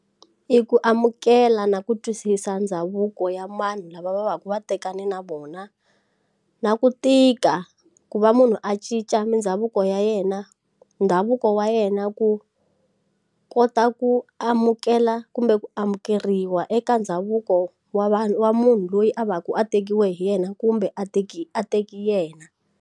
I ku amukela na ku twisisa ndhavuko ya mani lava va va ku vatekani na vona na ku tika ku va munhu a cinca mindhavuko ya yena ndhavuko wa yena ku kota ku amukela kumbe ku amukeriwa eka ndhavuko wa vanhu wa munhu loyi a va ku a tekiwa hi yena kumbe a teke a teke yena.